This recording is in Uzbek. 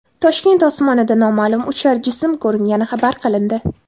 Toshkent osmonida noma’lum uchar jism ko‘ringani xabar qilindi.